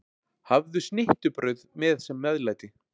Hafðu snittubrauð með sem meðlæti.